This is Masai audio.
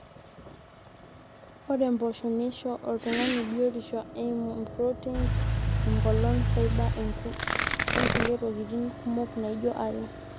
ore mpoosho neisho oltung'ani biotishu eimu proteins, eng'olon, fibre onkulie tokitin kumok naijo iron